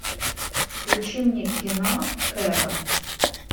включи мне кино кэрол